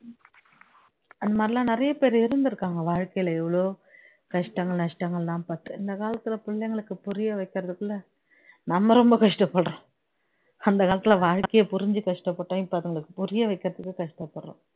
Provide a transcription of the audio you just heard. அந்த மாதிரி எல்லாம் நிறைய பேரு இருந்திருக்காங்க வாழ்க்கையில எவ்ளோ கஷ்டங்கள் நஷ்டங்கள் எல்லாம் பட்டு இந்த காலத்துல பிள்ளைங்களுக்கு புரிய வைக்கிரதுக்குள்ள நம்ம ரொம்ப கஷ்ட படுறோம் அந்த காலத்துல வாழ்கையை புரிந்து கஷ்ட்டபட்டோம் இப்போ அதுங்களுக்கு புரிய வைக்கிறதுக்கு கஷ்ட படுறோம்